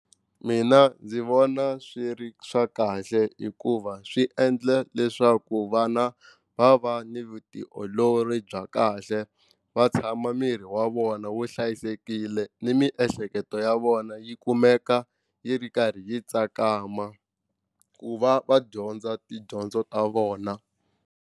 Mina ndzi vona swi ri swa kahle hikuva swi endla leswaku vana va va ni vutiolori bya kahle va tshama miri wa vona wu hlayisekile ni miehleketo ya vona yi kumeka yi ri karhi yi tsakama ku va va dyondza tidyondzo ta vona.